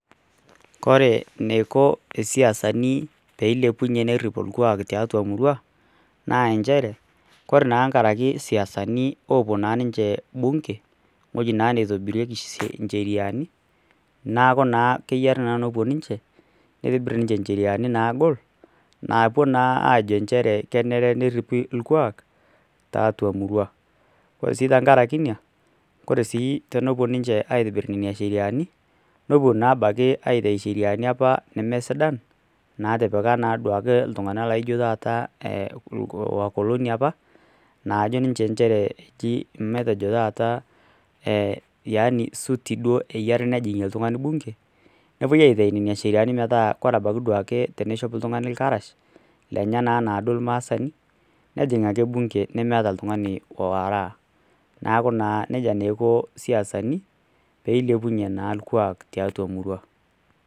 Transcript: Koee eniko siasanu peilepunye nerip orkuak tiatua emurua na nchere kore tenkaraki siasanu opu bunge ewoi naitobirieki siasani nitobir ncheriani nagol najo naa kenare neripi orkuak tiatua emurua or si enepuo ninche aitobir ncheriani n puo abaki aitau ninche nemesidqn Natipika ltunganak na ajo ninche nchere nepuoi aitau nona sheriani m metaa ore ebaki teneishop ltunganak irkarash anaa duo ak irmaasai nejing oltungani bunge nemeeta oltungani oaraa neaku nejia iko siasani peilepunye orkuak tiatua emurua